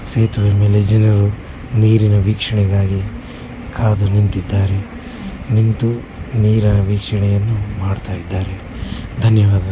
ಸೇತುವೆ ಮೇಲೆ ಜನರು ನೀರಿನ ವೀಕ್ಷಣೆಗಾಗಿ ಕಾಡು ನಿಂತಿದ್ದಾರೆ ನಿಂತು ನೀರ ವೀಕ್ಷಣೆಯನ್ನು ಮಾಡ್ತಾ ಇದ್ದಾರೆ ಧನ್ಯವಾದ.